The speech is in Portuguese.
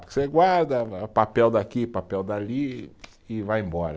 Porque você guarda papel daqui, papel dali e vai embora.